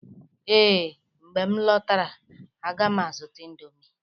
Ee, mgbe m lọtara, a ga m azụta indomie